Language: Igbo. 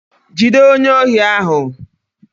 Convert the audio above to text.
Jide onye ohi ahu